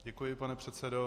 Děkuji, pane předsedo.